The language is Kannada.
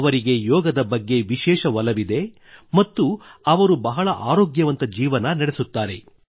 ಅವರಿಗೆ ಯೋಗದ ಬಗ್ಗೆ ವಿಶೇಷ ಒಲವಿದೆ ಮತ್ತು ಅವರು ಬಹಳ ಆರೋಗ್ಯವಂತ ಜೀವನ ನಡೆಸುತ್ತಾರೆ